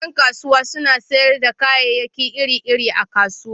Yan kasuwa suna sayar da kayayyaki iri-iri a kasuwa.